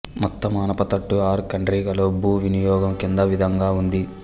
Mattamanapatattu R కండ్రిగలో భూ వినియోగం కింది విధంగా ఉంది